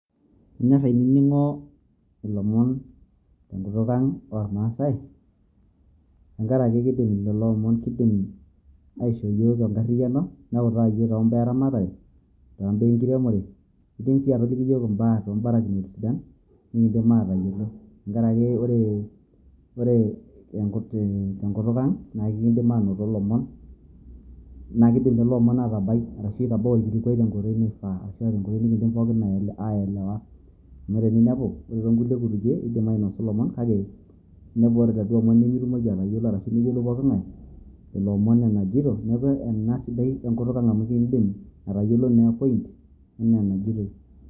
Kanyor ainining'o ilomon tenkutuk ang' ormaasai tenkaraki keidim lelo omon kidim aishoo yiook enkarriyiano neutaa yiook tombaa eramatare, tombaa enkiremore kidim si atoliki yiook imbaa tombarakinot sidan nikidim aatayiolo. Tenkaraki ore tenkutuk ang' na kidim anoto lomon, na kidim lelo omon atabai ashu itabao olkilikwai tenkoitoi naifaa ashu ah tenkoitoi nikiidim pookin aielewa. Amu ore eninepu ore tonkulie kutukie kidim ainasu lomon kake enepu ajo ore laduo omon nimitumoki atayiolo ashu neyiolou pooking'ae lelo omon enaijito neeku ena siadi enkutuk ang' amu iidim atayiolo naa e point enaa enajitoi.